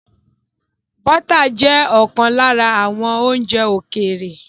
Bọ́tà jẹ́ ọ̀kan lára àwọn oúnjẹ ókéré